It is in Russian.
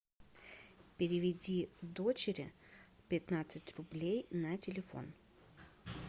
переведи дочери пятнадцать рублей на телефон